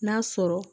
N'a sɔrɔ